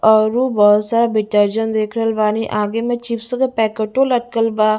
औरु बहुत सारा देख रहल बानी आगे में चिप्स के पैकेटो लटकल बा--